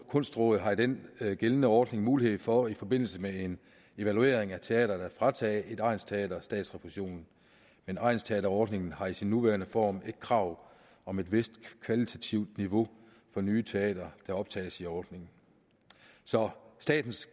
kunstråd har i den gældende ordning haft mulighed for i forbindelse med en evaluering af teatrene at fratage et egnsteater statsrefusion men egnsteaterordningen har i sin nuværende form et krav om et vist kvalitativt niveau for nye teatre der optages i ordningen så statens